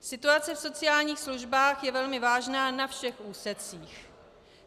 Situace v sociálních službách je velmi vážná na všech úsecích.